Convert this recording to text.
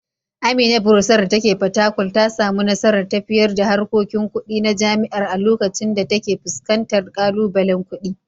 Amina Bursar dake Fatakwal ta samu nasarar tafiyar da harkokin kudi na jami’ar a lokacin da take fuskantar kalubalen kudi.